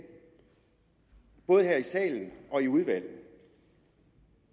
både her i salen og i udvalget